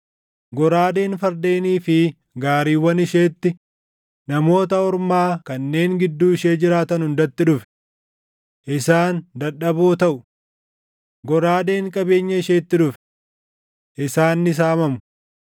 Goraadeen fardeenii fi gaariiwwan isheetti, Namoota Ormaa kanneen gidduu ishee jiraatan hundatti dhufe! Isaan dadhaboo taʼu. Goraadeen qabeenya isheetti dhufe! Isaan ni saamamu.